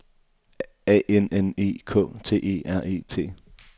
A N N E K T E R E T